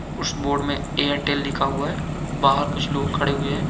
उस बोर्ड में एयरटेल लिखा हुआ है बहार कुछ लोग खडे हुए है।